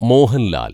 Mohanlal‍